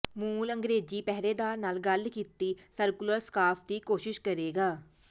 ਮੂਲ ਅੰਗਰੇਜ਼ੀ ਪਹਿਰੇਦਾਰ ਨਾਲ ਗੱਲ ਕੀਤੀ ਸਰਕੂਲਰ ਸਕਾਰਫ਼ ਦੀ ਕੋਸ਼ਿਸ਼ ਕਰੇਗਾ